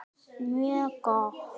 Mjög gott!